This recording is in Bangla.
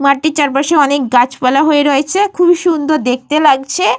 মাটির চারপাশে অনেক গাছপালা হয়ে রয়েছে। খুবই সুন্দর দেখতে লাগছে।